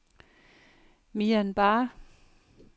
Myanbar